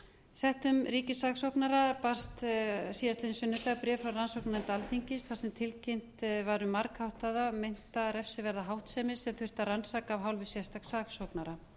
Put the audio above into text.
settum ríkissaksóknara barst síðastliðinn sunnudag bréf frá rannsóknarnefnd alþingis þar sem tilkynnt var um margháttaða meinta refsiverða háttsemi sem þurfti að rannsaka af hálfu sérstaks saksóknara